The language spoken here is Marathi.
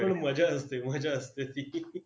पण मजा असते, मजा असते.